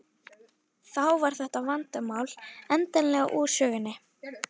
Þá var þetta vandamál endanlega úr sögunni.